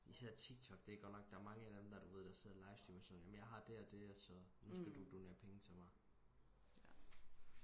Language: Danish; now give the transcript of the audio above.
især tiktok det er godt nok der er mange af dem der du ved der sidder og livestreamer og siger jeg har det og det så nu skal du donere penge til mig